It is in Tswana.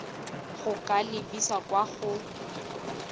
go ka lebisa kwa go